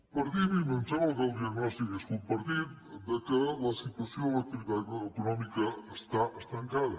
partim i em sembla que el diagnòstic és compartit que la situació de l’activitat econòmica està estancada